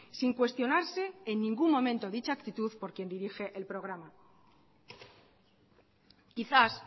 sin cuestionarse en ningún momento dicha actitud por quien dirige el programa quizás